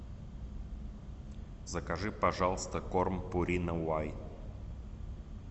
закажи пожалуйста корм пурина вай